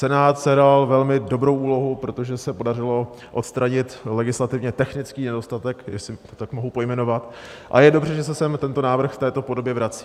Senát sehrál velmi dobrou úlohu, protože se podařilo odstranit legislativně technický nedostatek, jestli to tak mohu pojmenovat, a je dobře, že se sem tento návrh v této podobě vrací.